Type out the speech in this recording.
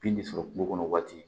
Bin de sɔrɔ kungo kɔnɔ waati